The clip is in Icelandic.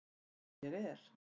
Sem ég er.